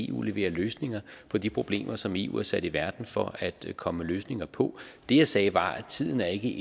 eu leverer løsninger på de problemer som eu er sat i verden for at komme med løsninger på det jeg sagde var at tiden ikke